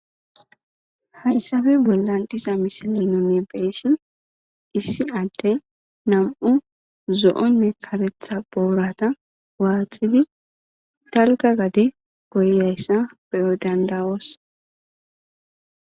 Hayssabe bollandisa misilinonne beesshin issi adde nam'u zo'onne karetha boorata waatxidi talga gade goyayssa beyo dandawos.